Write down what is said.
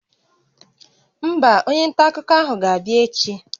Mba, onye nta akụkọ ahụ ga-abịa echi